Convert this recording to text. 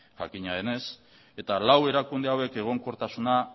jakina denez eta lau erakunde hauek egonkortasuna